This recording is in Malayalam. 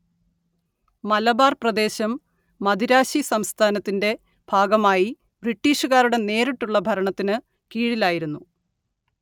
മലബാർ പ്രദേശം മദിരാശി സംസ്ഥാനത്തിന്റെ ഭാഗമായി ബ്രിട്ടീഷുകാരുടെ നേരിട്ടുള്ള ഭരണത്തിനു കീഴിലായിരുന്നു